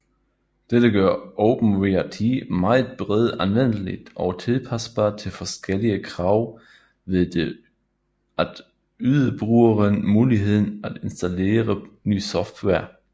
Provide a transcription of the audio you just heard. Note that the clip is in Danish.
Dette gør OpenWrt meget bredt anvendeligt og tilpasbart til forskellige krav ved at yde brugeren muligheden at installere ny software